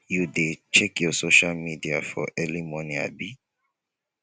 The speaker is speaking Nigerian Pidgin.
you dey check your social media for early morning abi